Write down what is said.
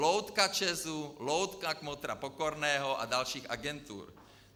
Loutka ČEZu, loutka kmotra Pokorného a dalších agentur.